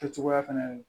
Kɛ cogoya fɛnɛ ye